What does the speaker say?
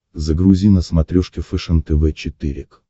загрузи на смотрешке фэшен тв четыре к